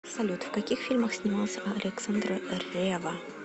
салют в каких фильмах снимался александр ревва